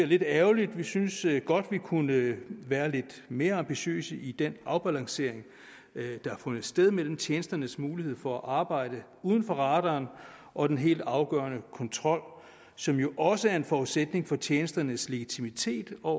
lidt ærgerligt vi synes godt man kunne være lidt mere ambitiøs i den afbalancering der har fundet sted mellem tjenesternes mulighed for at arbejde uden for radaren og den helt afgørende kontrol som jo også er en forudsætning for tjenesternes legitimitet og